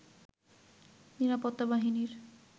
নিরাপত্তা বাহিনীর